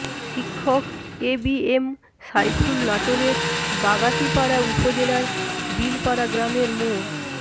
শিক্ষক এবিএম সাইফুল নাটোরের বাগাতিপাড়া উপজেলার বিলপাড়া গ্রামের মো